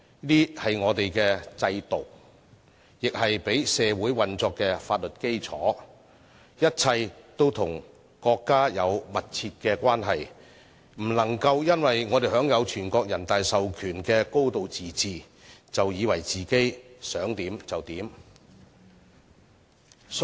這些是我們的制度，亦是讓社會運作的法律基礎，一切都與國家有密切關係，不能夠因為我們享有全國人大授權的"高度自治"，便以為自己可以為所欲為。